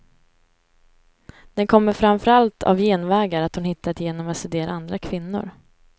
Den kommer framför allt av genvägar hon hittat genom att studera andra kvinnor.